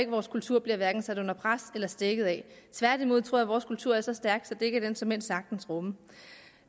vores kultur hverken bliver sat under pres eller stækket af tværtimod tror jeg at vores kultur er så stærk at det kan den såmænd sagtens rumme